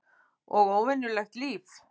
Og venjulegt líf.